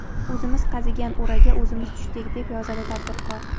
O‘zimiz qazigan o‘raga o‘zimiz tushdik”, deb yozadi tadbirkor.